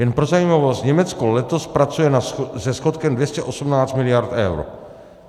Jen pro zajímavost, Německo letos pracuje se schodkem 218 mld. eur.